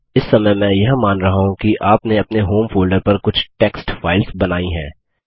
इस समय मैं यह मान रहा हूँ कि आपने अपने होम फोल्डर पर कुछ टेक्स्ट फाइल्स बनायीं हैं